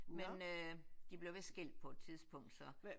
Men øh de blev vist skilt på et tidspunkt så